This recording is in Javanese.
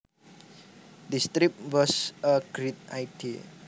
This trip was a great idea